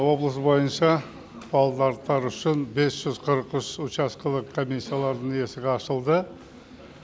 облыс бойынша павлодарлықтар үшін бес жүз қырық үш учаскелік комиссиялардың есігі ашылды